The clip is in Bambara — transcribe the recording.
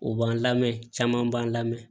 O b'an lamɛn caman b'an lamɛn